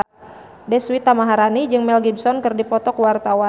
Deswita Maharani jeung Mel Gibson keur dipoto ku wartawan